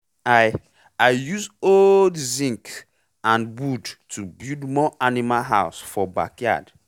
i i use old zince and wood to build more animal house for backyard